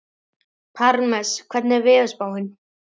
Parmes, hvernig er veðurspáin?